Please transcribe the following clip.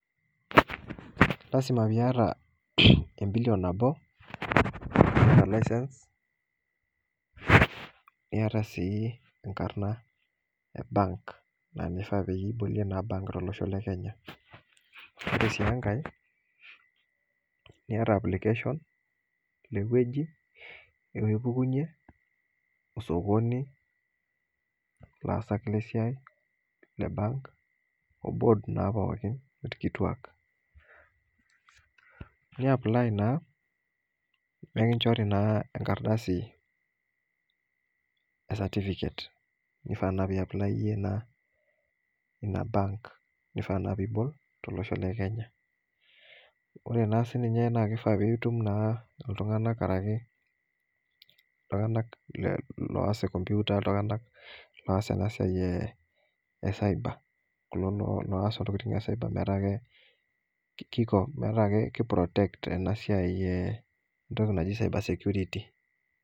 Lasima piata embilion nabo e license niata sii enkarna ebank na ninye na ibolie embank tolosho le Kenya ore si enkae niata application inewueji nipukunye osokoni laasa le siai le bank olaasak pooki le bank orkituak ni apply nikichorina enkardasi e certificate kifaa piaply iyie na inabank kifaa na pibol tolosho le kenya ore ba sininiye na kifaa pitum ltunganak oas nkomputa ltunganak oas enasia e cyber olaas ntokitin metaa kiprotect enasia najib cyber security